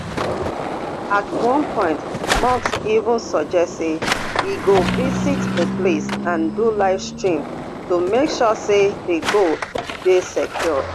at one point musk even suggest say e go visit di place and do livestream to make sure say di gold dey secured